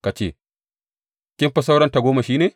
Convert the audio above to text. Ka ce, Kin fi sauran tagomashi ne?